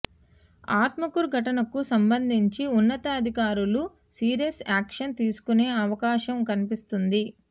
ఆత్మకూరు ఘటనకు సంబంధించి ఉన్నతాధికారులు సీరియస్ యాక్షన్ తీసుకునే అవకాశం కనిపిస్తోంది